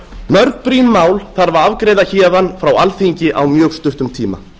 mörg brýn mál þarf að afgreiða héðan frá alþingi á mjög stuttum tíma